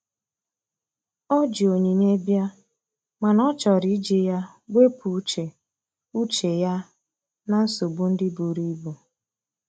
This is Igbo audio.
O ji onyinye bia, mana ọ chọrọ iji ya wepụ uche uche ya na nsogbo ndi buru ibụ.